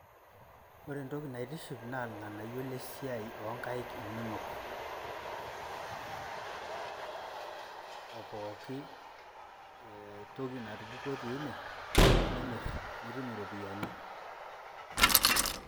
Wore entoki naitiship naa ilnganayioo lesiai onkaik inonok aa pooki entoki natupukuo tiine nimirr aa nitum iropiyiani